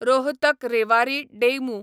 Rohtak Rewari DEMU